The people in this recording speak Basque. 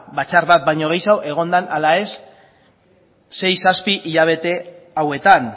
batzar bat baino gehiago egon da ala ez sei zazpi hilabete hauetan